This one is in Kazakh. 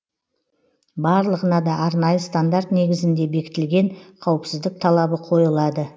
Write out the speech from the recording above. барлығына да арнайы стандарт негізінде бекітілген қауіпсіздік талабы қойылады